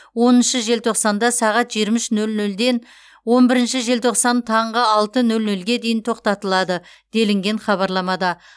оныншы желтоқсанда сағат жиырма үш нөл нөл ден он бірінші желтоқсан таңғы алты нөлге дейін тоқтатылады делінген хабарламада